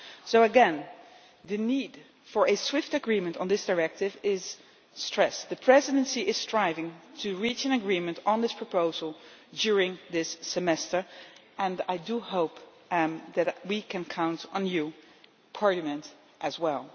So again, the need for a swift agreement on this directive is stressed. The Presidency is striving to reach an agreement on this proposal during this semester, and I hope that we can count on you Parliament as well.